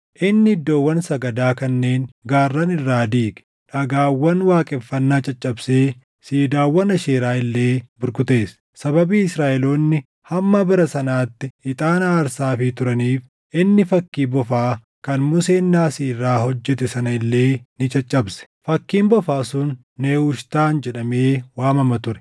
Inni iddoowwan sagadaa kanneen gaarran irraa diige; dhagaawwan waaqeffannaa caccabsee siidaawwan Aasheeraa illee burkuteesse. Sababii Israaʼeloonni hamma bara sanaatti ixaana aarsaafii turaniif inni fakkii bofaa kan Museen naasii irraa hojjete sana illee ni caccabse. Fakkiin bofaa sun Nehushtaan jedhamee waamama ture.